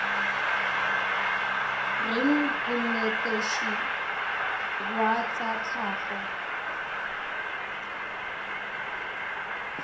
reng monetetshi wa tsa tlhago